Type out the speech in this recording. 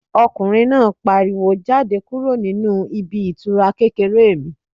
Ọkùnrin náà pariwo "Jáde kúrò nínú ibi ìtura kékeré mi"